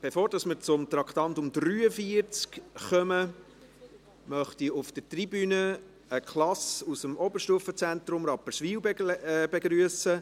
Bevor wir zum Traktandum 43 kommen, möchte ich auf der Tribüne eine Klasse aus dem Oberstufenzentrum Rapperswil begrüssen.